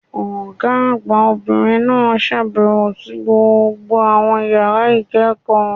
Ọ̀gá àgbà Obìnrin náà sàbèwò sí gbogbo àwọn yàrá ìkéèkó